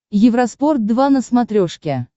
евроспорт два на смотрешке